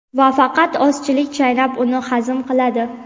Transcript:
va faqat ozchilik - chaynab uni hazm qiladi.